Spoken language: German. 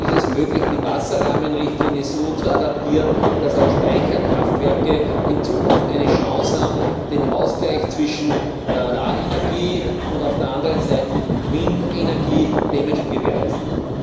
Ist es möglich, die Wasserrahmenrichtlinie so zu adaptieren, dass auch Speicherkraftwerke in Zukunft eine Chance haben, den Ausgleich zwischen Solarenergie und auf der anderen Seite Windenergie zu gewährleisten?